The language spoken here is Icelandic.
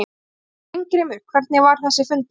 Heimir: Steingrímur, hvernig var þessi fundur?